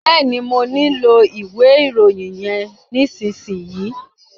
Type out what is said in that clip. Bẹ́ẹ̀ni, mọ nílò ìwé ìròyìn yẹn nísìsiyìí.